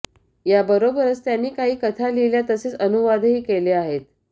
याबरोबरच त्यांनी काही कथा लिहिल्या तसेच अनुवादही केले आहेत